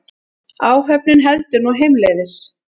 Áhöfnin heldur nú heimleiðis